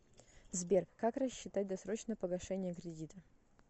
сбер как рассчитать досрочное погашение кредита